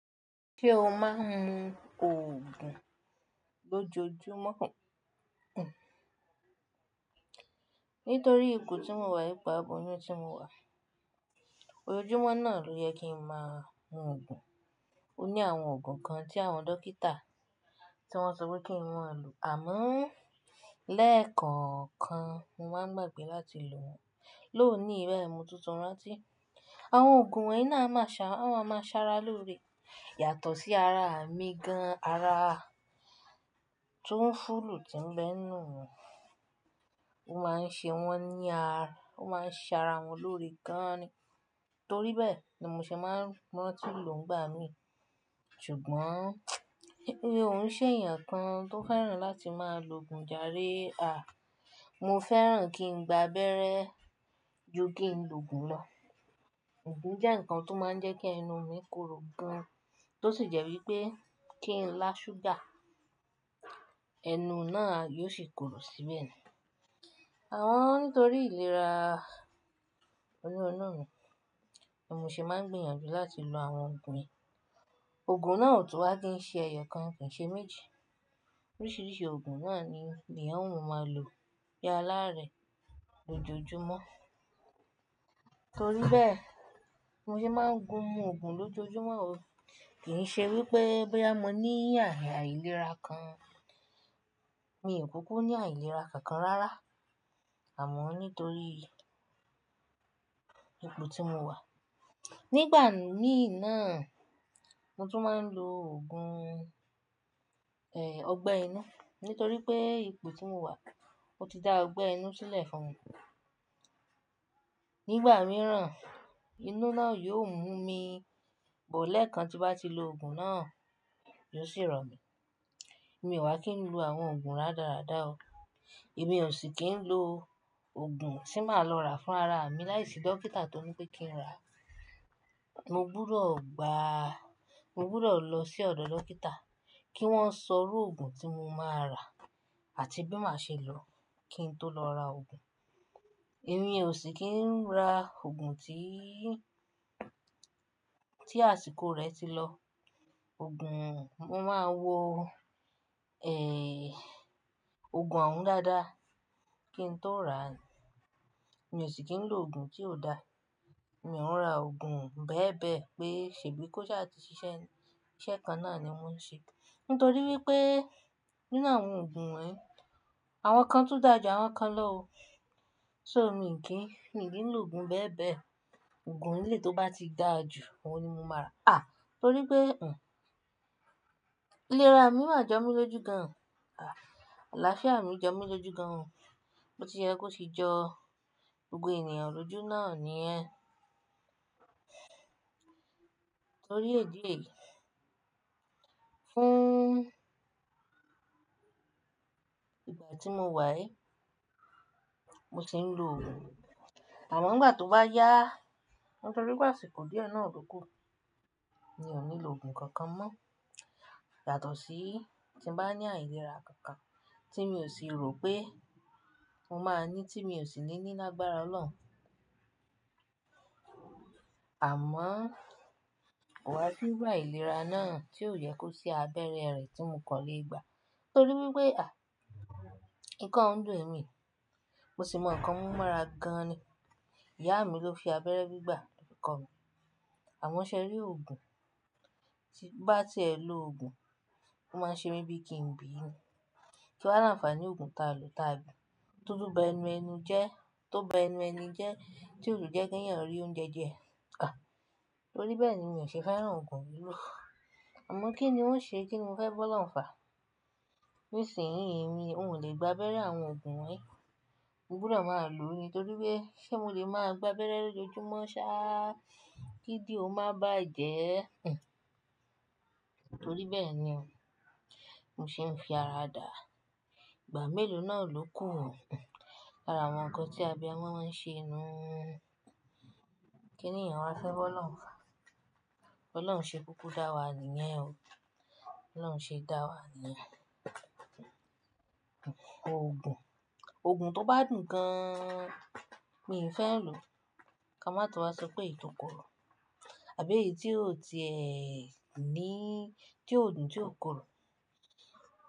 Ṣé o máa ń lo oògùn lójoojúmọ́? Nítorí ipò tí mo wà ipá, bọ̀ ní ọjọ́ tí mo wà, ojoojúmọ́ náà ló yẹ kí ń máa lo oògùn. Ó ní àwọn oògùn kan tí àwọn dókítà tí wọ́n sọ pé kí n mú àlù. Àmọ́ lẹ́ẹ̀kan kan, mo máa ń gbàgbé láti lò wọ́n. Lónìí, bayi mo tuntun rántí, àwọn oògùn wonyi náà a máa ṣa-- a máa ma ṣara lórí. Yàtọ̀ sí ara mi gan-an, ara tó ń fúlù tí ń bẹ nù. Ó máa ń ṣe wọ́n ní ara, ó máa ń ṣara wọn lórí gan-an ni. Torí bẹ́ẹ̀ ni mo ṣe máa ń rántí lò ń gbà mí. Ṣùgbọ́n, ó ń ṣe èèyàn kan tó fẹ́ràn láti máa lo oògùn jare a. Mo fẹ́ràn kí n gbá abẹ́rẹ́ ju kí n lo oògùn lọ. Oògùn jẹ́ ǹkan tó máa ń jẹ́ kí ẹnu mi korò gan-an, tó sì jẹ́ wípé kí n lá ṣúgà, ẹnu náà yóò sì korò síbẹ̀ ni. Àwọn-- nítorí ìlera onírunú mi, ni mo ṣe máa ń gbìyànjú láti lo àwọn oògùn mi. Oògùn náà ò tún wá kí ń ṣe ẹ̀yọ̀ kan kì í ṣe méjì. Oríṣiríṣi oògùn náà ni, ni eeyan òun máa ń lò bi a'láàárẹ̀ lójoojúmọ́. Nítorí bẹ́ẹ̀, mo ṣe máa ń gun mu oògùn lójoojúmọ́ o. Kì í ṣe wípé bóyá mo ní àìlera kan. Mi ò kúkú ní àìlera kankan rárá. Àmọ́ nítorí ipò tí mo wà, nígbà míì náà, mo tún máa ń lo oògùn, ẹ́, ọgbẹ́ inú. Nítorí pé ipò tí mo wà, ó ti dá ọgbẹ́ inú sílẹ̀ fún mi. Nígbà mìíràn, inú náà yóò mú mi, bó lẹ́ẹ̀kan ti bá ti lo oògùn náà, yóò sì rọ̀ mí. Mi ò wà kí n lo àwọn oògùn rádaràda o. Èmi ò sì kí ń lo oògùn tí màá lọ rà fún ara mi láìsí dókítà tó ní pé kí n rà. Mo gbúdọ̀ gba-- mo gbúdọ̀ lọ sí ọ̀dọ̀ dókítà kí wọ́n sọrú oògùn tí mo máa rà àti bí màá ṣe lọ kí n tó lọ ra oògùn. Èmi ò sì kí ń ra oògùn tí, tí àsìkò rẹ̀ ti lọ. Oògùn, mo máa ń wo, ẹ́, oògùn òun dáadáa kí n tó rà. Mi ò sì kí ń lo oògùn tí ò dá. Mi ò ń rà oògùn bẹ́ẹ̀bẹ́ẹ̀ pé ṣèbí kó ṣáà ti ṣiṣẹ́, iṣẹ́ kan náà ni wọ́n ń ṣe. Nítorí wípé nínú àwọn oògùn wonyi, àwọn kan tún dà ju àwọn kan lọ o. So mi kì í, mi ò lè lo oògùn bẹ́ẹ̀bẹ́ẹ̀. Oògùn ilé tó bá ti dà jù, òun ni mo máa rà. À! Nítorí pé, n, ìlera mi maá jọ mí lójú gan-an. À! Alaafia mi jọ mí lójú gan-an. Ó ti yẹ kó sì jọ gbogbo ènìyàn lójú náà ni ẹ́. Nítorí èdí yìí, fún ìgbà tí mo wà ẹ́, mo sì ń lo oògùn. Àmọ́ ìgbà tó bá yá, nítorí pé àsìkò díẹ̀ náà ò dúró kù, mi ò ní lo oògùn kankan mọ́. Yàtọ̀ sí tí mo bá ní àìlera kankan tí mi ò sì rò pé mo máa ní tí mi ò sì ní ní lágbára Ọlọ́run. Àmọ́, ko wà sí iru ailera náà tí ò yẹ kó sí abẹ́rẹ́ rẹ̀ tí mo kọ́lé gbà. Nítorí wípé, à! Ikọ́ ń dùn mí, mo sì mọ ǹkan mú mọ́ra gan-an ni. Ìyá mi ló fi abẹ́rẹ́ gbígbà fi kọ mí. Àmo ṣe rí oògùn tí bá tí ẹ lo oògùn, ó máa ń ṣe mí bí i kí ń bí inu. Kí wá làǹfààní oògùn ta lò ta bi, tó tùn bá ẹnu ẹni jẹ́, tó bá ẹnu ẹni jẹ́, tí ò dùn jẹ́ kí ẹ̀yàn rí oúnjẹ jẹ́. À! Nítorí bẹ́ẹ̀ ni mi ò ṣe fẹ́ ràn oògùn mìíràn. Àmọ́ kí ni ó ń ṣe kí mo fẹ́ bọ o'loun fa? Nísìnyí, èmi ò lè gba abẹ́rẹ́ àwọn oògùn wonyi. Mo gbúdọ̀ máa lò ó ni. Nítorí pé ṣé mo lè máa gba abẹ́rẹ́ lójoojúmọ́ sáá, kídìó máa bá jẹ ẹ́? Nítorí bẹ́ẹ̀ ni o, mo ṣe ń fi ara dà. Ìgbà mélòó náà ló kù hàn. Árá, àwọn ǹkan tí abiamọ́ máa ń ṣe inú. Kí ni èèyàn á fẹ́ bọ́ O'olun fa? Bọ́ O'oluǹ ṣe kúkú dá wa nìyẹn o. Bọ́ làǹṣe dá wa nìyẹn. Oògùn, oògùn tó bá dùn gan-an, mi ò fẹ́ lò. Ka má tọ vá sọ pé èyí tó korò. Àbí èyí tí yóò di ẹ́ ní, tí yóò dùn, tí yóò korò.